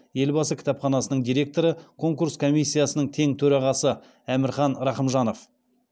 елбасы кітапханасының директоры конкурс комиссиясының тең төрағасы әмірхан рахымжанов